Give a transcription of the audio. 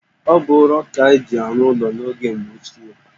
Ọ bụ ụrọ ka-eji arụ ụlọ n'oge mgbe ochie